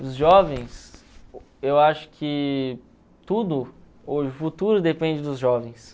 Os jovens, eu acho que tudo, o futuro depende dos jovens.